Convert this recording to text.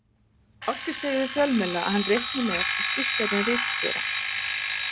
Ásgeir segir við fjölmiðla að hann reikni með að skipt verði um ritstjóra.